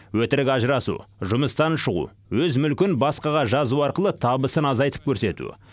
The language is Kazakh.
өтірік ажырасу жұмыстан шығу өз мүлкін басқаға жазу арқылы табысын азайтып көрсету